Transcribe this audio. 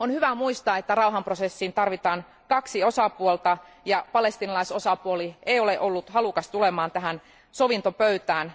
On hyvä muistaa, että rauhanprosessiin tarvitaan kaksi osapuolta, ja palestiinalaisosapuoli ei ole ollut halukas tulemaan sovintopöytään.